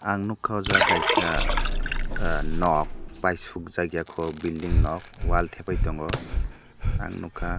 ang nugkha ahh jaaga kaisa nog pai suk jag eia ko building nog wall thapai tongo ang nugkha.